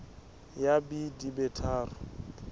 ya b di be tharo